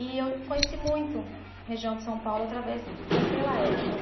E eu conheci muito a região de São Paulo através daquela época.